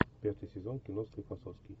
пятый сезон кино склифосовский